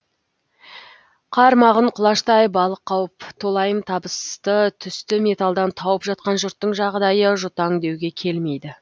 қармағын құлаштай балық қауып толайым табысты түсті металдан тауып жатқан жұрттың жағдайы жұтаң деуге келмейді